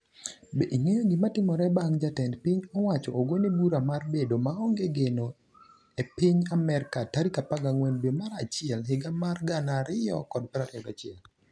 Be ing'eyo gimatimore bang' ka jatend piny owacho ogone bura mar bedo maonge geno e piny Amerka tarik 14 dwe mar achiel higa mar 2021?